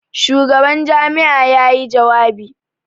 Shugaban jami'a ya yi jawabi jiya.